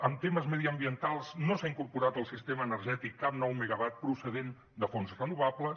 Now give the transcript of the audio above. en temes mediambientals no s’ha incorporat al sistema energètic cap nou megawatt procedent de fonts renovables